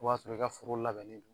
O b'a sɔrɔ i ka foro labɛnnen don